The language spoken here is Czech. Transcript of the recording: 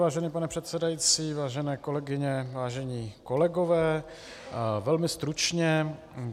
Vážený pane předsedající, vážené kolegyně, vážení kolegové, velmi stručně.